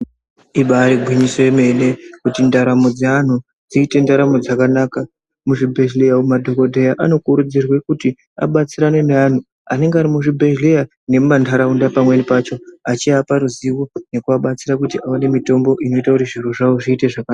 Ibairi gwinyiso yemene kuti ndaramo dze anhu dziite ndaramo dzakanaka mu zvibhedhleya umu madhokodheya ano kurudzirwe kuti abatsirane ne anhu anenge ari mu zvibhedhleya nemu mandaraunda pamweni pacho achi apa ruzivo nekuva batsira kuti aone mitombo unoita kuti zviro zvawo zviite zvakanaka.